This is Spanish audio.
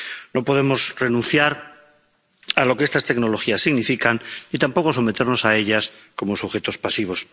No podemos renunciar a lo que estas tecnologías significan y tampoco someternos a ellas como sujetos pasivos.